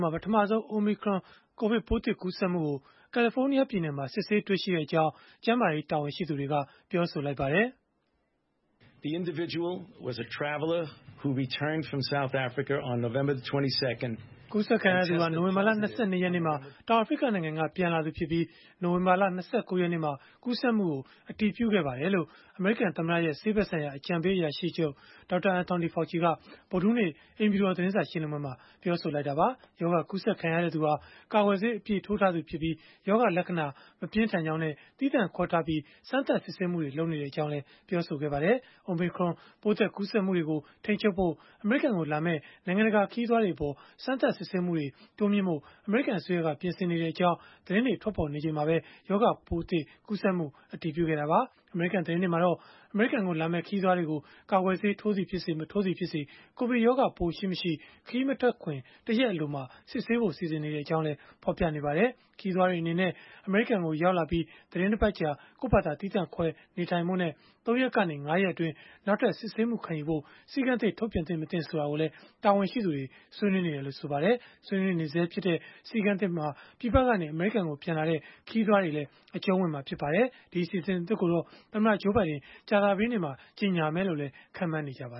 မှာ ပထမဆုံး Omicron ကိုဗစ်ပိုးသစ် ကူးစက်မှုကို ကယ်လီဖိုးနီးယား ပြည်နယ်မှာ စစ်ဆေးတွေ့ရှိကြောင်း ကျန်းမာရေး တာဝန်ရှိသူတွေက ပြောပါတယ်။ “နိုဝင်ဘာလ ၂၂ ရက်နေ့မှာ တောင်အာဖရိကနိုင်ငံကနေ ပြန်လာသူဖြစ်ပြီး၊ နိုဝင်ဘာလ ၂၉ ရက်နေ့မှာ ကူးစက်မှုကို အတည်ပြုခဲ့ပါတယ်။” လို့ အမေရိကန်သမ္မတရဲ့ ဆေးဖက်ဆိုင်ရာ အကြံပေးအရာရှိချုပ် Dr. Anthony Fauci က ဗုဒ္ဓဟူးနေ့ အိမ်ဖြူတော် သတင်းစာရှင်းလင်းပွဲမှာ ပြောလိုကတာပါ။ ရောဂါကူးစက်ခံရသူဟာ ကာကွယ်ဆေး အပြည့်ထိုးထားသူဖြစ်ပြီး၊ ရောဂါလက္ခဏာ မပြင်းထန်ကြောင်းနဲ့ သီးသန့်ခွဲထားပြီး စမ်းသပ်စစ်ဆေးမှုတွေ လုပ်နေတယ်လို့လည်း ပြောပါတယ်။ Omicron ပိုးသစ် ကူးစက်မှုတွေကို ထိန်းချုပ်ဖို့ အမေရိကန်ကိုလာမယ့် နိုင်ငံတကာ ခရီးသွားတွေအပေါ် စမ်းသပ်စစ်ဆေးမှုတွေ တိုးမြှင့်ဖို့ အမေရိကန်အစိုးရက ပြင်ဆင်နေကြောင်း သတင်းတွေ ထွက်ပေါ်နေချိန်မှာပဲ ရောဂါပိုးသစ် ကူးစက်မှု အတည်ပြုခဲ့တာပါ။ အမေရိကန် သတင်းတွေမှာတော့ အမေရိကန်ကိုလာမယ့် ခရီးသွားတွေကို ကာကွယ်ဆေး၊ ထိုးသည်ဖြစ်စေ မထိုးသည်ဖြစ်စေ ကိုဗစ်ရောဂါပိုးရှိ၊ မရှိ ခရီးမထွက်ခင် ၁ ရက်အလိုမှာ စစ်ဆေးဖို့ စီစဉ်နေကြောင်း ဖော်ပြနေကြပါတယ်။ ခရီးသွားတွေအနေနဲ့ အမေရိကန်ကို ရောက်လာပြီး သီတင်းတပတ်ကြာ ကိုယ့်ဖာသာသီးသန့်ခွဲ နေထိုင်ဖို့နဲ့၃ ရက်ကနေ ၅ ရက်အတွင်း နောက်ထပ်စစ်ဆေးမှုခံယူဖို့ စည်းကမ်းသစ်ထုတ်ပြန်သင့်၊ မသင့် ဆိုတာကိုလည်း တာဝန်ရှိသူတွေ ဆွေးနွေးနေတယ်လို့ ဆိုပါတယ်။ ဆွေးနွေးနေဆဲဖြစ်တဲ့ စည်းကမ်းသစ်ဟာ ပြည်ပကနေ အမေရိကန်ကို ပြန်လာတဲ့ ခရီးသွားတွေလည်း အကျုံးဝင်မှာ ဖြစ်ပါတယ်။ အစီအစဉ်သစ်ကိုတော့ သမ္မတ Joe Biden ကြာသပတေးနေ့မှာ ကြေညာမယ်လို့လည်း ခန့်မှန်းနေကြပါ